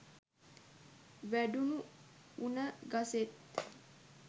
වැඩුණු උණ ගසේත්